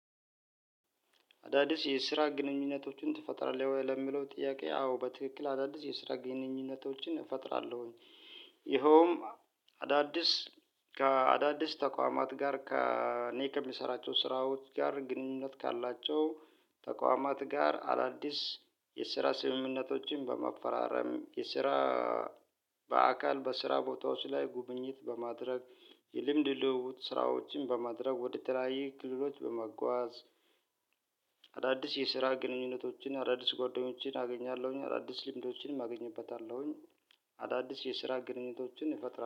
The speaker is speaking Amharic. አዳዲስ የስራ ግንኙነቶችን ትፈጥራለህ ወይ ለሚለው ጥያቄ አዎ በትክክል አዳዲስ የስራ ግንኙነቶችን እፈጥራለሁኝ። ይኸውም አዳዲስ ከአዳዲስ ተቋማት ጋር ከኔ ከምሰራቸው ስራዎች ጋር ግንኙነት ካላቸው ተቋማት ጋር አዳዲስ የስራ ስምምነቶችን በመፈራረም የስራ በአካል በስራ ቦታ ውስጥ ላይ ጉብኝት በማድረግ የልምድ ልውውጥ ስራዎችን በማድረግ ወደ ተለያዩ ክልሎች በመጓዝ። አዳዲስ የስራ ግንኙነቶችን አዳዲስ ጓደኞቼን አገኛለሁኝ አዳዲስ ልምዶችንም አገኝበታለሁኝ። አዳዲስ የስራ ግንኙነቶችን እፈጥረራን